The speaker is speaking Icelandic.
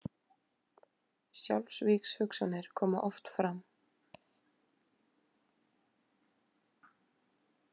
Sjálfsvígshugsanir koma oft fram.